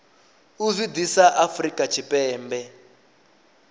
u zwi ḓisa afrika tshipembe